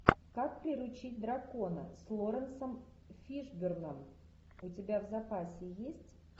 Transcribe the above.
как приручить дракона с лоуренсом фишборном у тебя в запасе есть